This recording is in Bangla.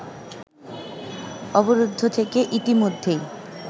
অবরুদ্ধ থেকে ইতিমধ্যেই